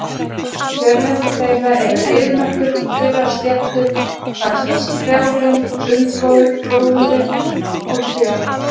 Kjörlendi þeirra eru eyðimerkur og þurrar sléttur vaxnar strjálum runnagróðri og trjám.